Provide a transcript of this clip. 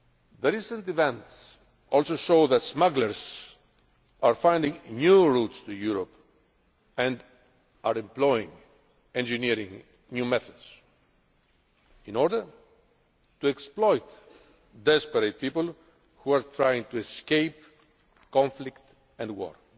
The recent events also show that smugglers are finding new routes to Europe and are employing and engineering new methods in order to exploit desperate people who are trying to escape conflict and war.